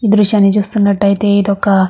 ఈ దృశ్యాన్ని చూస్తున్నట్టాయితే ఇది ఒక --